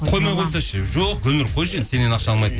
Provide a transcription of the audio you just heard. қоймай қойса ше жоқ гүлнұр қойшы енді сеннен ақша алмайтын